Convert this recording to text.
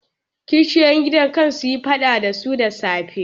Kishiyoyin gidan can sun yi faɗa ɗazu da safe.